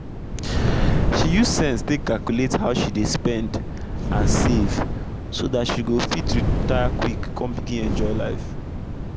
she use sense take calculate how she dey spend and save so dat she go fit retire quick kon begin enjoy life